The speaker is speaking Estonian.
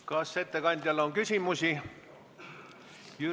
Kas ettekandjale on küsimusi?